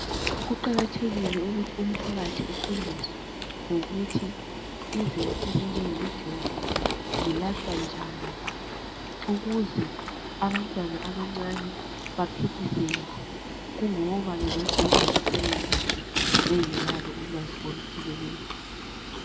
Kuqakathekile ukuthi umphakathi ufundiswe ngokuthi izinto ezinjengemijovo zilahlwa njani, ukuze abantwana abancane baphiphiseke kungoba bengadobha basebenzise bengelalo ulwazi olupheleleyo.